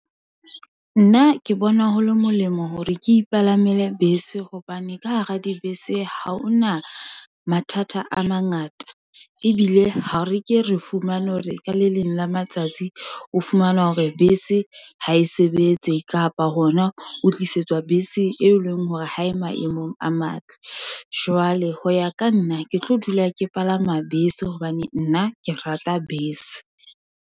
Nna ke bona ho le molemo hore ke ipalamele bese, hobane ka hara dibese, ha hona mathata a mangata. Ebile ha re ke re fumane hore ka le leng la matsatsi, o fumana hore bese ha e sebetse, kapa hona o tlisetswa bese e leng hore ha e maemong a matle. Jwale ho ya ka nna, ke tlo dula ke palama bes, e hobane nna ke rata bese.